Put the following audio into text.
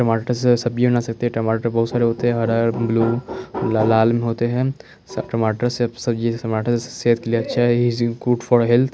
टमाटर से सब्जी बना सकते हैं टमाटर बहुत सारे होते हैं हरा ब्लू ल लाल भी होते हैं टमाटर से सब्जी टमाटर सेहत के लिए अच्छा है इज गुड फॉर हेल्थ। --